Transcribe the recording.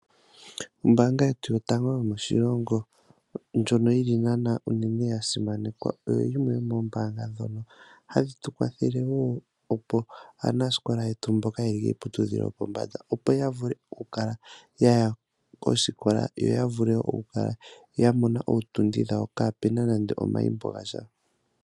Ombaanga yetu yotango yomoshilongo ndjono yili naana unene yasimanekwa. Oyoyimwe yomoombanga dhoka hadhi tukwathele woo opo aanasikola yetu mboka yeli kiiputudhilo yopombanda, opo yavule okukala yaya kosikola yoyavule okukala yamona ootundi dhawo, kaapena nando omayimbo gasha.